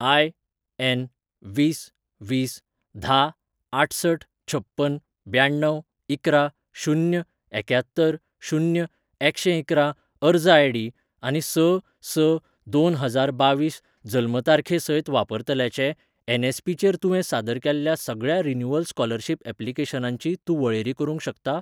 IN वीस वीस धा आठसठ छप्पन ब्याण्णव इकरा शून्य एक्यात्तर शून्य एकशेंइकरा अर्ज आयडी आनी स स दोन हजार बावीस जल्म तारखे सयत वापरतल्याचे एन.एस.पी.चेर तुवें सादर केल्ल्या सगळ्या रिन्यूवल स्कॉलरशिप ऍप्लिकेशनांची तूं वळेरी करूंक शकता?